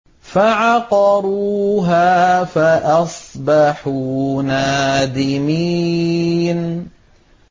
فَعَقَرُوهَا فَأَصْبَحُوا نَادِمِينَ